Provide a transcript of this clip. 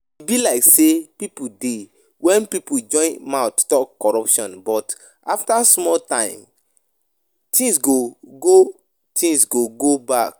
E be like sey hope dey when pipo join mouth talk corruption but after small time things go go things go go back